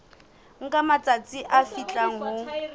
nka matsatsi a fihlang ho